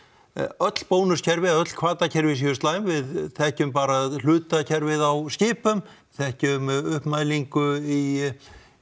öll bónuskerfi eða öll hvatakerfi séu slæm við þekkjum bara hlutakerfið á skipum þekkjum uppmælingu í